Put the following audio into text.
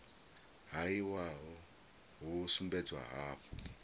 ha iwalo hu sumbedza hafhu